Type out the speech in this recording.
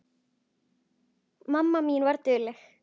Mamma mín var dugleg.